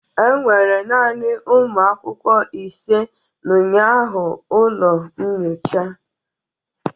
Enwere naanị ụmụ akwụkwọ ise na ụnyaahụ ụlọ nyocha